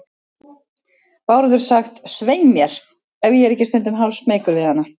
Bárður sagt, svei mér, ef ég er ekki stundum hálfsmeykur við hana.